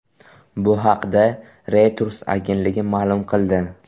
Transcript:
Bu haqda Reuters agentligi ma’lum qildi .